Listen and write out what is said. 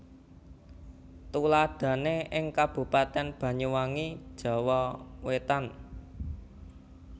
Tuladhané ing Kabupatèn Banyuwangi Jawa Wétan